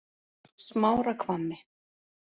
Smárahvammi